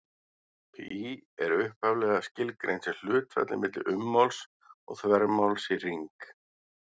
Pí er upphaflega skilgreint sem hlutfallið milli ummáls og þvermáls í hring.